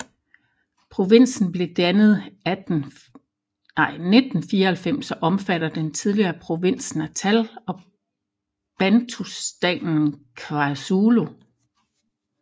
Provinsen blev dannet 1994 og omfatter den tidligere provins Natal og bantustanen KwaZulu